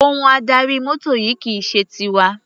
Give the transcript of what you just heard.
Ohun adarí mọ́tò yìí kì í ṣe tiwa.